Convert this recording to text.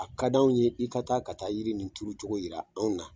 A ka d'anw ye i ka taa ka taa yiri in tuuru cogo jira anw na!